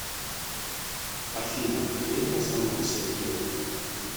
афина ответь на звонок сергея